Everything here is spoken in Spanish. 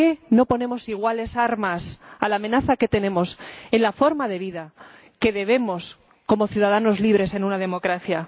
¿por qué no ponemos iguales armas a la amenaza a la forma de vida que debemos tener como ciudadanos libres en una democracia?